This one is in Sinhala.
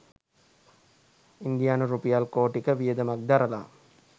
ඉන්දියානු රුපියල් කෝටි ක වියදමක් දරලා